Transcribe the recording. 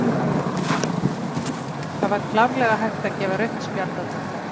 Það var klárlega hægt að gefa rautt spjald á þetta.